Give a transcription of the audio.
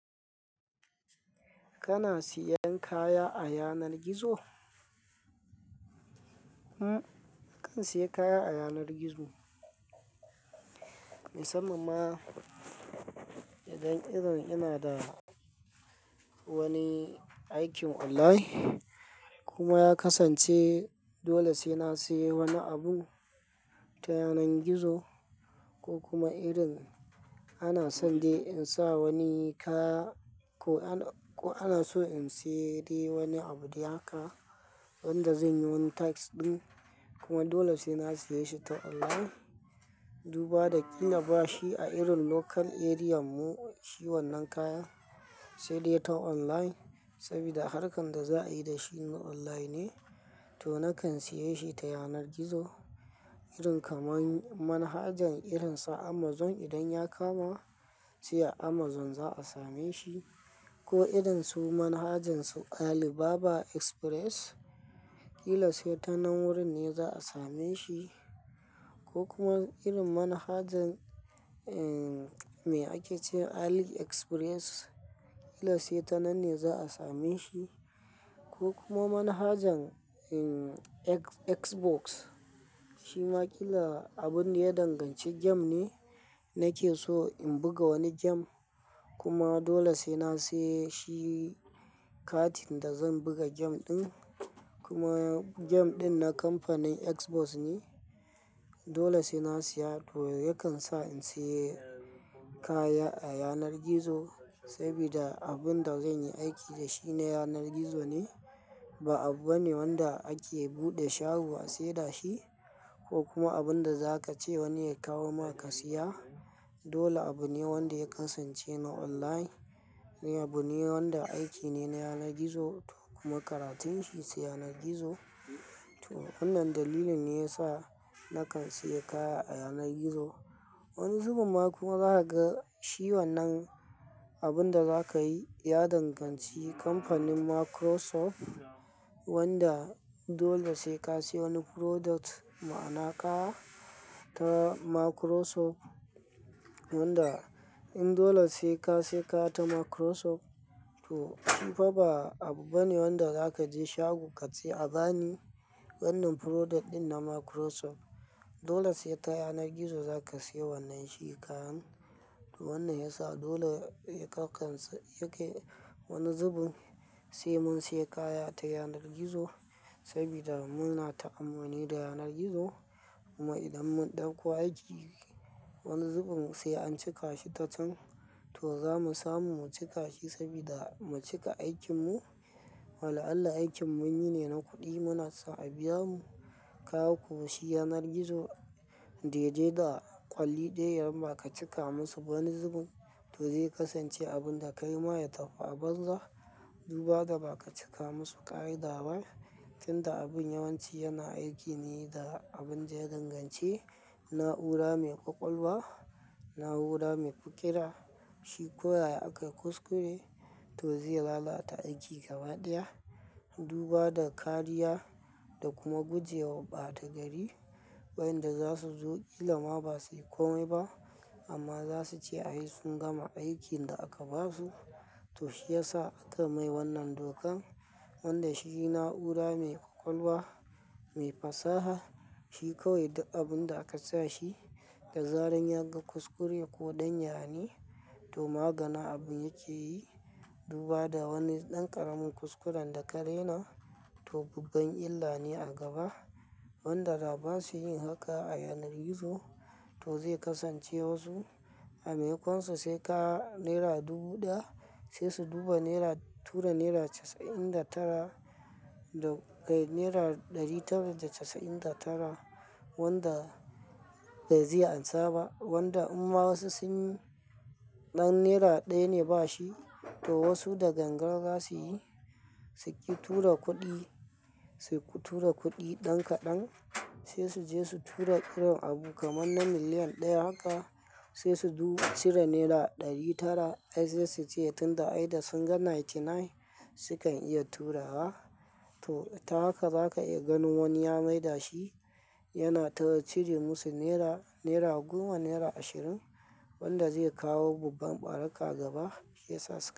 Kana siyan kaya a yanar gizo? Hm, kan siyan kaya a yanar gizo. Musamman ma idan irin yana da wani aikin online kuma ya kasance dole sai na sayi wani abu ta yanar gizo. Ko kuma irin ana so in sa wani kaya. Ko ana so in siya wani abu ɗaya kaɗai wanda zan yi tax ɗin kuma dole sai na sayi shi ta online. Duba da ina bashi a irin local area mu shi wannan kayan sai dai ta online saboda harkan da za a yi da shi na online ne to na kan saye shi ta yanar gizo. Irin kamar manhajan irin sa Amazon idan ya kama shi a Amazon za a same shi ko irin su manhajan su Alibaba Express, ƙila sai ta nan wurin ne za a same shi. Ko kuma irin manhajan, eh, me ake ce Ali Express, ƙila sai ta nan ne za a same shi. Ko kuma manhajan, eh, Xbox shi ma ƙila abun da ya danganci game ne nake so in buga wani game kuma dole sai na saye shi katin da zan buga game ɗin. Kuma game ɗin na kamfanin Xbox ne dole sai na siya to yakan sa in sayi kaya a yanar gizo saboda abin da zan yi aiki da shi ne yanar gizo ne ba abu bane wanda ake buɗe shago a sayar shi ko kuma abin da za ka ce wani ya kawo maka siya. Dole abu ne wanda ya kasance na online. Abu ne wanda aiki ne na yanar gizo to kuma karatun shi su yanar gizo. To wannan dalilin ne ya sa na kan sayi kaya a yanar gizo. Wani zubin ma kuma za ka ga shi wannan abun da za ka yi ya danganci kamfanin Microsoft wanda dole sai ka siya wani product, ma'ana ka ta Microsoft wanda in dole sai ka siya ka ta Microsoft to in fa ba abu bane wanda za ka je shago ka siya a gani wannan product ɗin na Microsoft dole sai ta yanar gizo za ka siya wannan shi kayan. Wannan ya sa dole ya kasance yake wani zubin sai mun siya kaya ta yanar gizo saboda muna ta'ammuni da yanar gizo. Kuma idan mun ɗauko aiki wani zubin sai an cika shi ta can to za mu samu mu cika shi saboda mu cika aikin mu. Wa la'allah aikin mun yi ne na kuɗi, muna sa a biya mu kaya ko shi yanar gizo dai dai da ƙwalliya idan ba ka cika musu wani zubin to zai kasance abun da ka yi ba ya tafiya a banza. Duba da ba ka cika musu ƙa'ida ba tunda abun yawanci yana aiki ne da abin da ya danganci na'ura mai ƙwaƙwalwa, na'ura mai fikira shi ko yaya akayi kuskure to zai lalata aiki gaba ɗaya. Duba da kariya da kuma guje wa ɓata gari. Wayanda za su zo ƙila ma ba sai komai ba amma za su ce ai sun gama aikin da aka ba su to shi ya sa aka mai wannan dokan wanda shi na'ura mai ƙwaƙwalwa, mai fasaha shi kawai da abun da aka sa shi da zarar yaga kuskure ko ɗan yane to maganin abin yake yi. Duba da wani ɗan ƙaramin kuskuren da ka rena to babban illa ne a gaba wanda da ba su yin haka a yanar gizo to zai kasance wasu a maimakonsu sai ka naira dubu ɗaya sai su duba naira, tura naira casa'in da tara da naira ɗari tara da casa'in da tara wanda ba zai ansa ba wanda amma wasu sun ɗan naira ɗaya ne ba shi to wasu da gangara za su yi suke tura kuɗi, su tura kuɗi ɗan kaɗan sai su je su tura irin abu kamar na miliyan ɗaya haka sai su cire naira ɗari tara ai sai su ce tunda ai da sun ga ninety nine sukan iya turawa. To ta haka za ka iya gan wani ya maida shi yana tura cire musu naira, naira goma, naira ashirin wanda zai kawo babban ɓaraƙa gaba shi ya sasu.